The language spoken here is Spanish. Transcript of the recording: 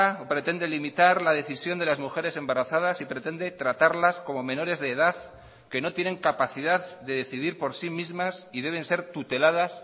o pretende limitar la decisión de las mujeres embarazadas y pretende tratarlas como menores de edad que no tienen capacidad de decidir por sí mismas y deben ser tuteladas